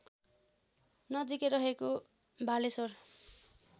नजिकै रहेको भालेश्वर